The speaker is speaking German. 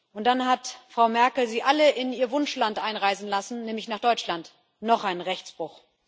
Und dann hat Frau Merkel sie alle in ihr Wunschland einreisen lassen, nämlich nach Deutschland noch ein Rechtsbruch.